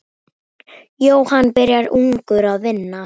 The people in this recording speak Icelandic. Jóhann byrjaði ungur að vinna.